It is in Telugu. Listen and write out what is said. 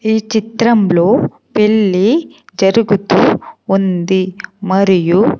ఈ చిత్రంలో పెళ్లి జరుగుతూ ఉంది మరియు.